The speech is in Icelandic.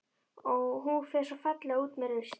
Og hún fer svo fallega út með rusl.